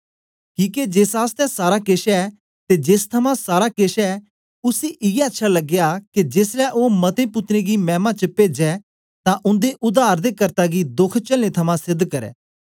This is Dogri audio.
किके जेस आसतै सारा केछ ऐ ते जेस थमां सारा केछ ऐ उसी इयै अच्छा लगया के जेसलै ओ मते पुत्रें गी मैमा च पेज्जे तां उन्दे उद्धार दे कर्ता गी दोख चेलने थमां सेध करै